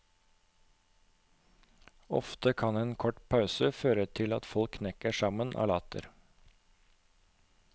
Ofte kan en kort pause føre til at folk knekker sammen av latter.